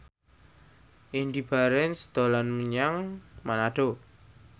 Indy Barens dolan menyang Manado